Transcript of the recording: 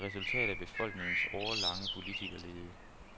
Et resultat af befolkningens årelange politikerlede.